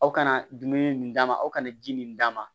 Aw kana dumuni min d'a ma aw kana ji min d'a ma